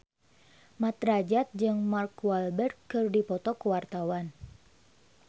Mat Drajat jeung Mark Walberg keur dipoto ku wartawan